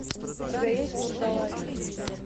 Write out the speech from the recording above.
у тебя есть вурдалаки